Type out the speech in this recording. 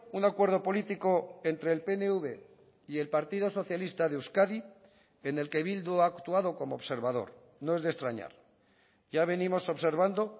un acuerdo político entre el pnv y el partido socialista de euskadi en el que bildu ha actuado como observador no es de extrañar ya venimos observando